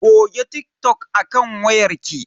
Goge TikTok a kan wayar ki.